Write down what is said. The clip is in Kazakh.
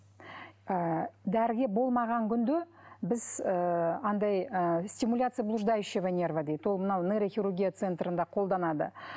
ыыы дәріге болмаған күнде біз ыыы анадай ы стимуляция блуждающего нерва дейді ол мынау нейрохирургия центрінде қолданады